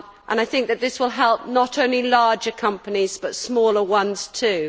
I think that this will help not only larger companies, but smaller ones too.